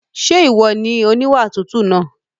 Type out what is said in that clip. Ṣé ìwọ ni oníwà tútù náà?